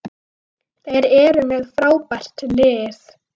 Þeir eru með frábært lið.